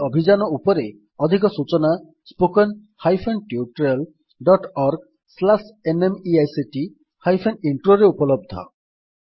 ଏହି ଅଭିଯାନ ଉପରେ ଅଧିକ ସୂଚନା spoken hyphen tutorial dot O R G slash NMEICT hyphen intro ରେ ଉପଲବ୍ଧ